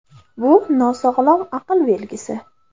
Bu – nosog‘lom aql belgisi.